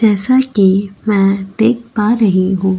जैसा कि मैं देख पा रही हूँ --